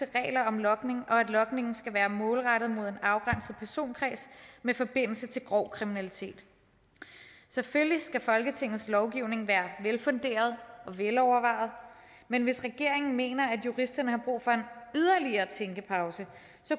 regler om logning og at logningen skal være målrettet mod en afgrænset personkreds med forbindelse til grov kriminalitet selvfølgelig skal folketingets lovgivning være velfunderet og velovervejet men hvis regeringen mener at juristerne har brug for en yderligere tænkepause